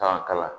K'an kalan